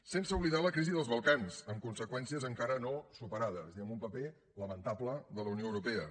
sense oblidar la crisi dels balcans amb conseqüències encara no superades i amb un paper lamentable de la unió europea